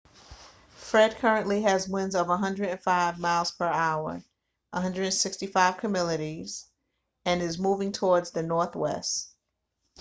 fred currently has winds of 105 miles per hour 165 km/h and is moving towards the northwest